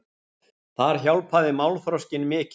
Þar hjálpaði málþroskinn mikið.